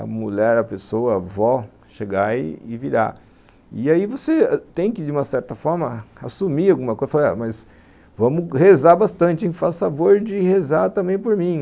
a mulher, a pessoa, a avó chegar e virar e aí você tem que de uma certa forma assumir alguma coisa mas vamos rezar bastante, faz favor de rezar também por mim